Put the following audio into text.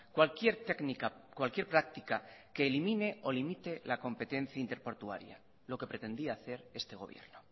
cualquier técnica cualquier práctica que elimine o limite la competencia ínter portuaria lo que pretendía hacer este gobierno